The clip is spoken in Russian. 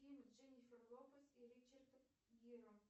фильм с дженифер лопес и ричардом гиром